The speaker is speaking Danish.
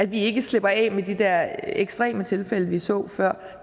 vi ikke slipper af med de der ekstreme tilfælde vi så før